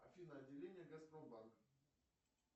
афина отделение газпромбанк